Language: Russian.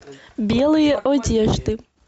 белые одежды